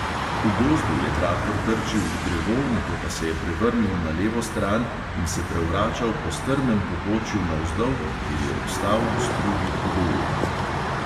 V gozdu je traktor trčil v drevo, nato pa se je prevrnil na levo stran in se prevračal po strmem pobočju navzdol, kjer je obstal v strugi hudournika.